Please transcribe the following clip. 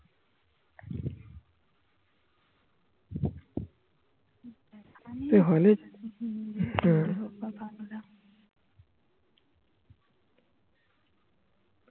hall এ হম